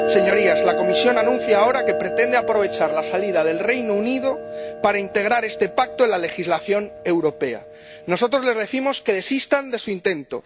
Señorías, la Comisión anuncia ahora que pretende aprovechar la salida del Reino Unido para integrar este Pacto en la legislación europea nosotros les decimos que desistan de su intento.